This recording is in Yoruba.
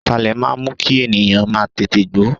Ataalẹ̀ máa ń mú kí ènìyàn má tètè gbó.